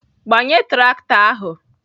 Gbanye traktọ ahụ!